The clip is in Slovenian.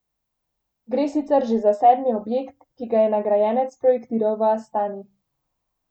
Gre sicer že za sedmi objekt, ki ga je nagrajenec projektiral v Astani.